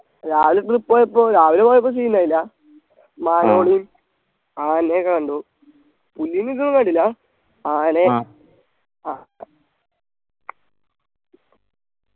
രാവിലെ trip പോയപ്പോ രാവിലെ പോയപ്പോ scene ഇണ്ടായില്ലാ മാനുകള് ആനയെ കണ്ടു പുലിനെ ഇതൊന്നും കണ്ടില്ല ആനയെ ആ